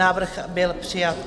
Návrh byl přijat.